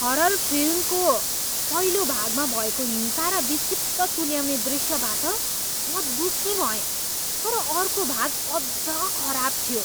Horror फिल्मको पहिलो भागमा भएको हिंसा र विक्षिप्त तुल्याउने दृश्यबाट म दुखी भएँ तर अर्को भाग अझ खराब थियो।